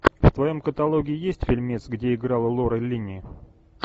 в твоем каталоге есть фильмец где играла лора линни